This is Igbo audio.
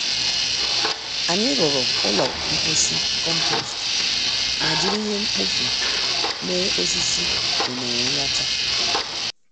Anyị rụrụ ụlọ mposi compost ma jiri ihe mkpofu mee osisi ụnere nracha